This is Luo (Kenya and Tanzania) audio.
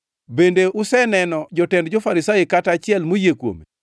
Bende useneno jotend jo-Farisai kata achiel moyie kuome?